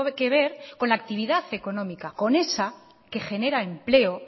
que ver con la actividad económica con esa que genera empleo